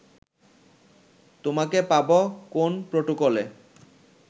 তোমাকে পাব কোন প্রটোকলে